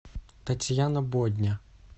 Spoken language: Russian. татьяна бодня